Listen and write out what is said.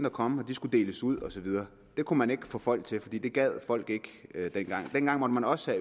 at komme og de skulle deles ud og så videre det kunne man ikke få folk til fordi det gad folk ikke dengang dengang måtte man også